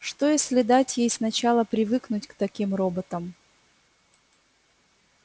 что если дать ей сначала привыкнуть к таким роботам